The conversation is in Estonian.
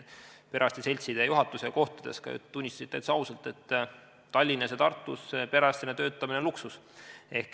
Perearstide seltsi juhatus tunnistas minuga kohtudes täitsa ausalt, et Tallinnas ja Tartus perearstina töötamine on luksus.